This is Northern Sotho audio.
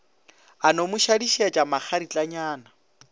a no mo šadišetša makgaritlanyana